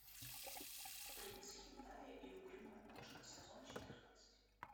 принц хентая и угрюмая кошка сезон четырнадцать